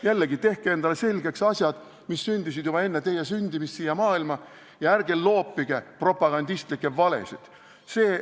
Jällegi, tehke endale selgeks asjad, mis toimusid juba enne teie sündimist siia maailma, ja ärge loopige propagandistlikke valesid!